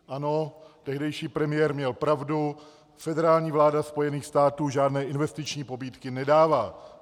Ano, tehdejší premiér měl pravdu, federální vláda Spojených států žádné investiční pobídky nedává.